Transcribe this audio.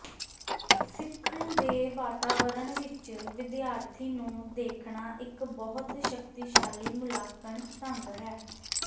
ਸਿੱਖਣ ਦੇ ਵਾਤਾਵਰਣ ਵਿੱਚ ਵਿਦਿਆਰਥੀ ਨੂੰ ਦੇਖਣਾ ਇੱਕ ਬਹੁਤ ਸ਼ਕਤੀਸ਼ਾਲੀ ਮੁਲਾਂਕਣ ਢੰਗ ਹੈ